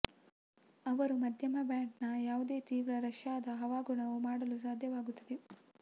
ಅವರು ಮಧ್ಯಮ ಬ್ಯಾಂಡ್ನ ಯಾವುದೇ ತೀವ್ರ ರಷ್ಯಾದ ಹವಾಗುಣವು ಮಾಡಲು ಸಾಧ್ಯವಾಗುತ್ತದೆ